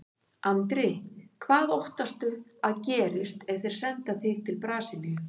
Andri: Hvað óttastu að gerist ef þeir senda þig til Brasilíu?